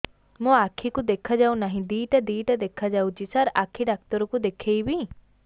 ମୋ ଆଖିକୁ ଦେଖା ଯାଉ ନାହିଁ ଦିଇଟା ଦିଇଟା ଦେଖା ଯାଉଛି ସାର୍ ଆଖି ଡକ୍ଟର କୁ ଦେଖାଇବି